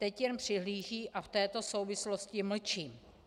Teď jen přihlížejí a v této souvislosti mlčí.